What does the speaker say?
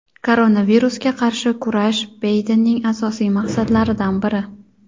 Koronavirusga qarshi kurash Baydenning asosiy maqsadlaridan biri.